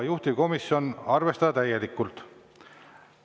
Juhtivkomisjon: arvestada täielikult.